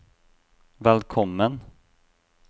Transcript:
velkommen